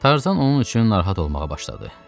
Tarzan onun üçün narahat olmağa başladı.